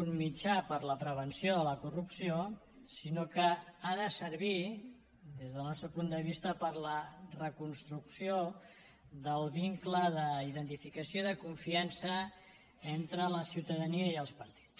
un mitjà per a la prevenció de la corrupció sinó que ha de servir des del nostre punt de vista per a la reconstrucció del vincle d’identificació i de confiança entre la ciutadania i els partits